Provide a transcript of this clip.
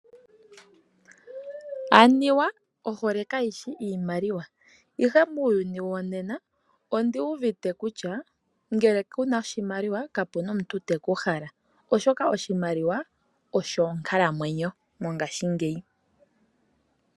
Anuwa ohole kayishi iimaliwa, ihe muuyuni wonena, onduuvite kutya ngele kuna oshimaliwa, kapena omuntu teku hala, oshoka oshimaliwa osho onkalamwenyo mongashingeyi.